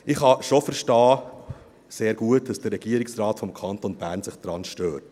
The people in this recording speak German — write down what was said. Ich kann schon sehr gut verstehen, dass sich der Regierungsrat des Kantons Bern daran stört.